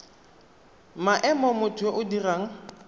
maemo motho yo o dirang